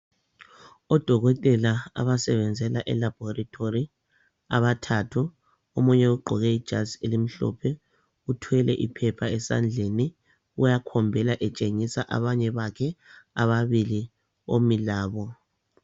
Odokotela abasebenzela e elabhorithori abathathu omunye ugqoke ijazi elimhlophe uthwele iphepha esandleni uyakhombela etshengisa abanye bakhe ababili omi labo.